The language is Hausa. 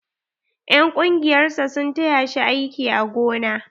En ƙungiyar sa sun taya shi aiki a gona.